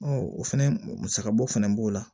o fɛnɛ musaka bɔ fana b'o la